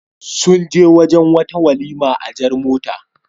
Sun je wurin wata walima a jar mota.